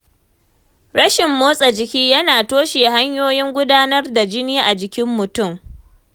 Rashin motsa jiki yana toshe hanyoyin gudanar jini a jikin mutum.